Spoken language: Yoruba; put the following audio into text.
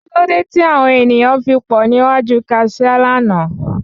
Kí ló dé tí àwon ènìyàn fi pọ̀ ní iwájú Kaṣiá lánàá?